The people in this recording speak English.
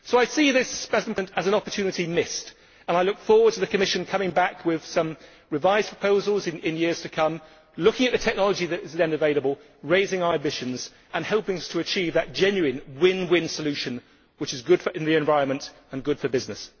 So I see this as an opportunity missed, and I look forward to the Commission coming back with revised proposals in the years to come looking at the technology that is then available, raising our ambitions and helping us to achieve the genuine win win solution that is good for the environment and good for business.